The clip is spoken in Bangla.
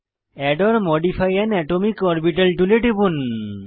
add or modify an atomic orbital টুলে টিপুন